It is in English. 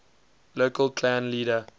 local clan leader